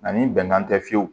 Ani bɛnkan tɛ fiyewu